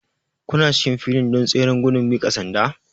Kuna cikin filin don tseren gudun miƙa sanda?